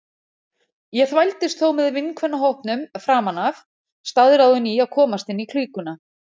Ég þvældist þó með vinkvennahópnum framan af, staðráðin í að komast inn í klíkuna.